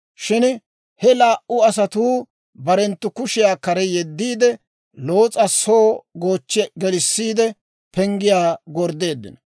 Shin he laa"u asatuu barenttu kushiyaa kare yeddiide, Loos'a soo goochchi gelissiide penggiyaa gorddeeddino.